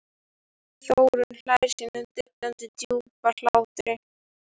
Þórunn hlær sínum dillandi djúpa hlátri.